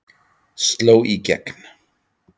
Sló í gegn